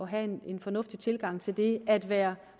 have en fornuftig tilgang til det at være